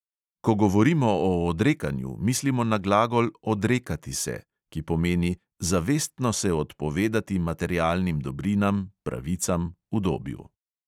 Ko govorimo o odrekanju, mislimo na glagol "odrekati se", ki pomeni: zavestno se odpovedati materialnim dobrinam, pravicam, udobju.